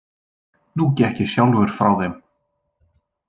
Nú gekk ég sjálfur frá þeim.